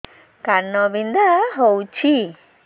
କାନ ବିନ୍ଧା ହଉଛି